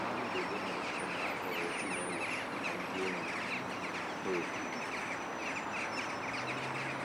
Ná mgbede na - esonụ a kpọrọ ezinụlọ na ndị enyi ha òkù.